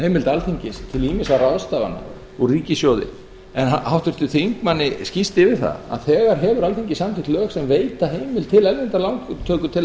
heimild alþingis til ýmissa ráðstafana úr ríkissjóði en háttvirtum þingmanni sést yfir það að þegar hefur alþingi samþykkt lög sem veita heimild til erlendrar lántöku til að